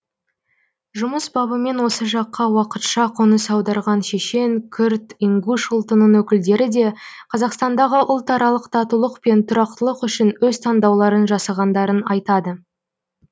жұмыс бабымен осы жаққа уақытша қоныс аударған шешен күрд ингуш ұлтының өкілдері де қазақстандағы ұлтаралық татулық пен тұрақтылық үшін өз таңдауларын жасағандарын айтады